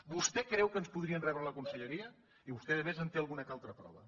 vostè creu que ens podrien rebre a la conselleria i vostè a més en té alguna que altra prova